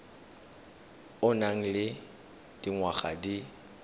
o nang le dingwaga di